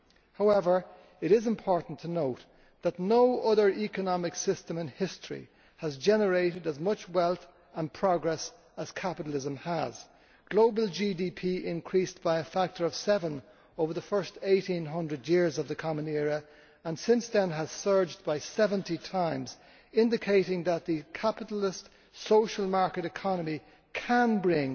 However, it is important to note that no other economic system in history has generated as much wealth and progress as capitalism. Global GDP increased by a factor of seven over the first 1800 years of the Common Era, and since then has multiplied 70 times, indicating that the capitalist social market economy can bring